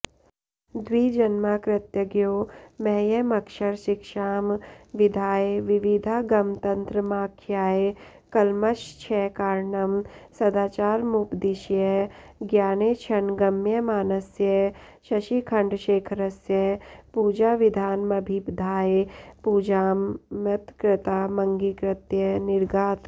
द्विजन्मा कृतज्ञो मह्यमक्षरशिक्षां विधाय विविधागमतन्त्रमाख्याय कल्मषक्षयकारणं सदाचारमुपदिश्य ज्ञानेक्षणगम्यमानस्य शशिखण्डशेखरस्य पूजाविधानमभिधाय पूजां मत्कृतामङ्गीकृत्य निरगात्